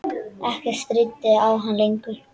Ekkert stríddi á hann lengur.